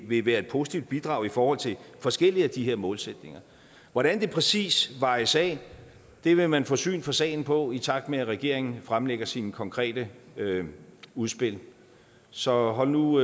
vil være et positivt bidrag i forhold til forskellige af de her målsætninger hvordan det præcis vejes af vil man få syn for sagen for i takt med at regeringen fremlægger sine konkrete udspil så hold nu